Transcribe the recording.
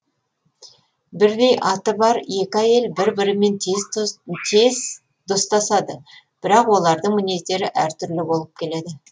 бірдей аты бар екі әйел бір бірімен тез достасады бірақ олардың мінездері әр түрлі болып келеді